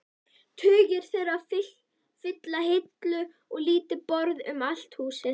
Tugir þeirra fylla hillur og lítil borð um allt húsið.